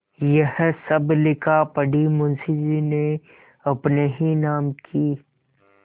यह सब लिखापढ़ी मुंशीजी ने अपने ही नाम की क्